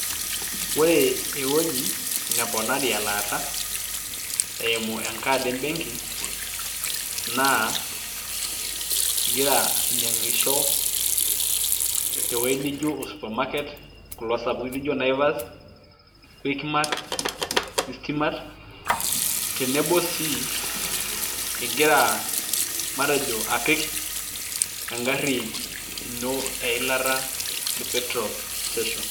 ore ewueji neponari elaata, eimu enkaad ebenki. naa igira ainyiangisho te wuei nijo o supermarket kulo sapukin leijo naivas, quickmatt, eastmatt. tenebo sii igira amatejo apik egari ino eila te petrol station